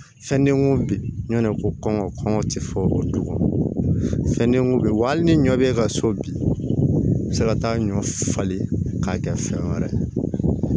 Fɛn denko bi ɲɔn ko kɔngɔ kɔngɔ ti fɔ o kan fɛn den bɛ wolo hali ni ɲɔ be ka so bin i be se ka taa ɲɔ falen k'a kɛ fɛn wɛrɛ ye